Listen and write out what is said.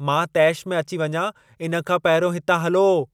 मां तेश में अची वञां इन खां पहिरियों हिता हलो।